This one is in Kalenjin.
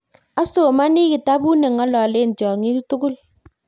asomani kitabut neng'ololen tyongik tugul